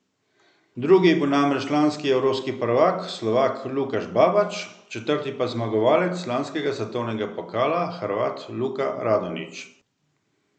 Drugi je bil namreč lanski evropski prvak Slovak Lukaš Babač, četrti pa zmagovalec lanskega svetovnega pokala Hrvat Luka Radonić.